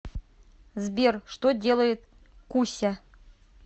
сбер что делает куся